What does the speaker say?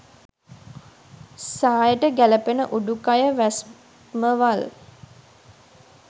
සායට ගැළපෙන උඩුකය වැස්මවල්